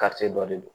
dɔ de don